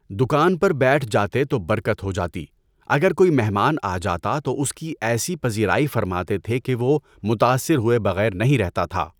دکان پر بیٹھ جاتے تو برکت ہو جاتی، اگر کوئی مہمان آ جاتا تو اس کی ایسی پزیرائی فرماتے تھے کہ وہ متأثر ہوئے بغیر نہیں رہتا تھا۔